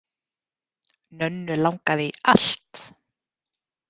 Nönnu langaði í allt.